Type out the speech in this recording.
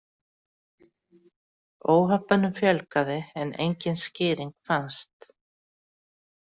Óhöppunum fjölgaði en engin skýring fannst.